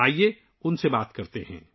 آئیے ان سے بات کرتے ہیں